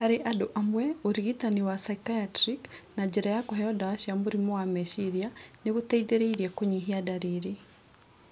Harĩ andũ amwe, ũrigitani wa psychriatic na njĩra ya kuheo ndawa cia mũrimu wa meciria nĩguteithĩrĩirie kũnyihia ndariri